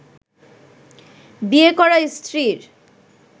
বিয়ে করা স্ত্রীর